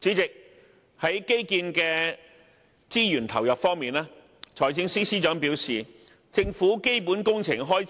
主席，在基建的資源投入方面，財政司司長表示，政府本年度的基本工程開